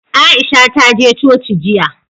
Aisha ta je coci jiya.